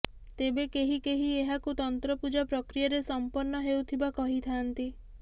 ତେବେ କେହି କେହି ଏହାକୁ ତନ୍ତ୍ରପୂଜା ପ୍ରକ୍ରିୟାରେ ସଂପନ୍ନ ହେଉଥିବା କହିଥାନ୍ତି